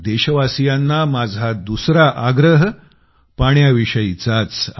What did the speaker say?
देशवासियांना माझा दुसरा आग्रह पाण्याविषयीचाच आहे